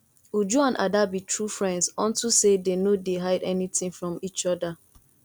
uju and ada be true friends unto say dey no dey hide anything from each other